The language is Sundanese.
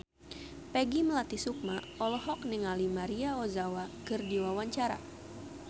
Peggy Melati Sukma olohok ningali Maria Ozawa keur diwawancara